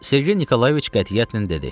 Sergey Nikolayeviç qətiyyətlə dedi.